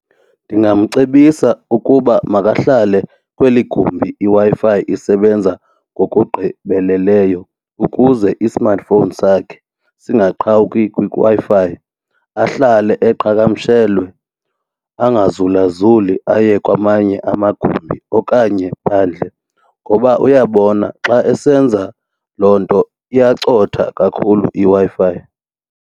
Ndingamcebisa ukuba makahlale kweli gumbi iWi-Fi isebenza ngokugqibeleleyo ukuze i-smartphone sakhe singaqhawuki kwiWi-Fi, ahlale eqhagamshelwe angazulazuli aye kwamanye amagumbi okanye phandle ngoba uyabona xa esenza loo nto iyacotha kakhulu iWi-Fi.